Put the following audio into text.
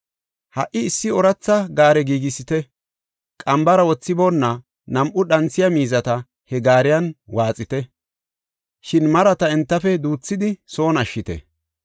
Ha77i issi ooratha gaare giigisite; qambara wothiboona nam7u dhanthiya miizata he gaariyan waaxite; shin marata entafe duuthidi son ashshite.